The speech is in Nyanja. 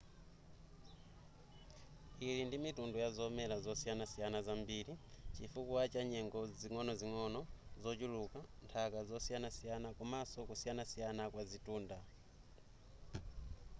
ili ndi mitundu yazomera zosiyanasiyana zambiri chifukwa chanyengo zing'onozing'ono zochuluka nthaka yosiyanasiyana komaso kusiyanasiyana kwa zitunda